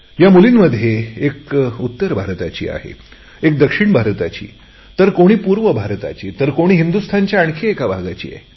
या मुलींमध्ये एक उत्तर भारतातून आहे एक दक्षिण भारताची तर कोणी पूर्व भारताची तर कोणी हिंदुस्तानच्या आणखी एका भागाची आहे